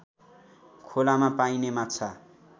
खोलामा पाइने माछा